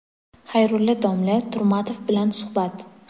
Xayrulla domla Turmatov bilan suhbat.